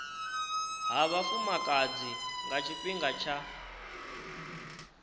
ha vhafumakadzi nga tshifhinga tsha